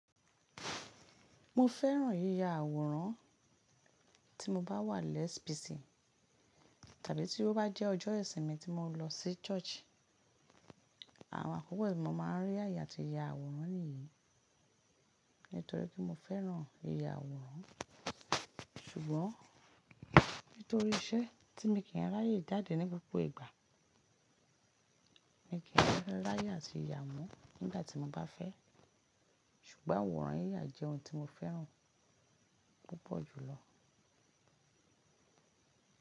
Mo fẹ́ràn yíya àwòrán tí mo bá wà less buysy tàbí tí ó bá jẹ́ ọjọ́ ìsinmi tí mo lọ sí church. Àwọn àkókò tí mo máa ń rí àyè àti ya àwòrán nìyí. Nítorí pé mo fẹ́ràn yìyà àwòrán. Ṣùgbọ́n nítorí iṣẹ́ tí mii kì í n ráyé jade ní gbogbo ìgbà, mi kì í n ráyè atí ya wọn nígbà tí mo bá fẹ́. Ṣùgbọ́n àwòrán yíya jẹ́ ohun tí mo fẹ́ràn púpọ̀ jùlọ.